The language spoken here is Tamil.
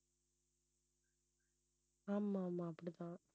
ஆமா ஆமா அப்படித்தான்.